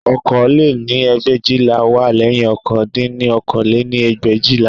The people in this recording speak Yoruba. Okòó lé-ní ẹgbẹ̀éjìlá wá lẹ́yìn ọ̀kan dín ní okòó lé-ní ẹgbẹ̀éjìlá